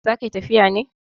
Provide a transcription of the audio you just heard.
Za ka yi tafiya ne?